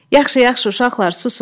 Yaxşı, yaxşı, uşaqlar, susun.